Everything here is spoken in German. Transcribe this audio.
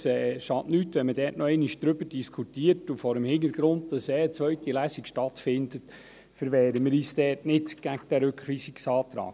Es schadet nichts, wenn man nochmals darüber diskutiert, und vor dem Hintergrund, dass ohnehin eine zweite Lesung stattfinden wird, verwehren wir uns nicht gegen diesen Rückweisungsantrag.